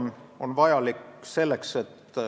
Ma arvan, et siin tuleb arvestada ka konteksti.